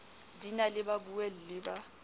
di na le babuelli ba